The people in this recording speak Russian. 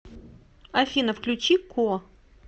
афина включи ко